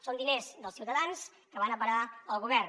són diners dels ciutadans que van a parar al govern